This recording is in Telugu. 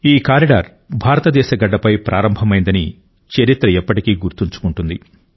ఈ కారిడార్ భారతదేశ గడ్డపై ప్రారంభమైందని చరిత్ర ఎప్పటికీ గుర్తుంచుకుంటుంది